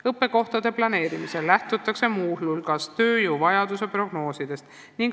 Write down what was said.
Õppekohtade planeerimisel lähtutakse muu hulgas tööjõuvajaduse prognoosidest.